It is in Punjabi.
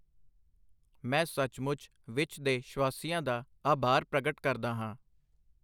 ਮੈਂ ਸੱਚਮੁੱਚ ਵਿੱਚ ਦੇ ਸ਼ਵਾਸੀਆਂ ਦਾ ਆਭਾਰ ਪ੍ਰਗਟ ਕਰਦਾ ਹਾਂ।